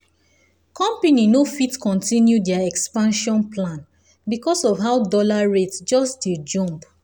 company no fit continue their expansion plan because of how dollar rate just dey jump.